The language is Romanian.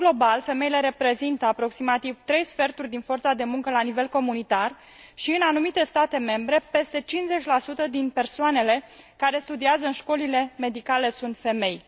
În mod global, femeile reprezintă aproximativ 3 sferturi din forța de muncă la nivel comunitar și, în anumite state membre, peste 50 din persoanele care studiază în școlile medicale sunt femei.